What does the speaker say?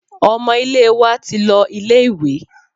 Ọmọ ilé wa ti lọ ilé ìwé.